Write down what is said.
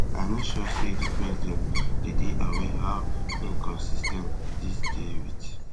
i no sure say di president dey dey aware how inconsis ten t dis dey wit